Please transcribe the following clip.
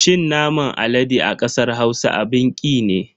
Cin naman alade a kasar Hausa abin ki ne.